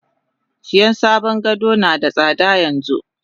Siyan sabon gado nada tsada yanxu.